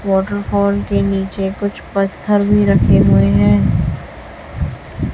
Waterfall के नीचे कुछ पत्थर भी रखे हुए हैं।